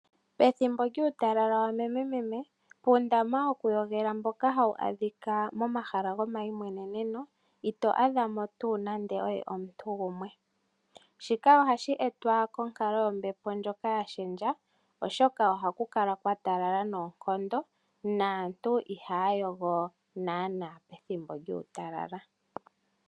Pethimbo lyuutalala wamememe, puundama wokuyogela mboka hawu adhika momahala gomayimweneneno ito adha mo tuu nando oye omuntu gumwe. Shika ohashi etwa konkalo yombepo ndjoka ya lunduluka, oshoka ohaku kala kwa talala noonkondo naantu ihaya yogo naanaa pethimbo lyuutalala.